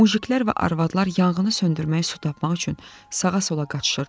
Mujiklər və arvadlar yanğını söndürmək su tapmaq üçün sağa-sola qaçışırdılar.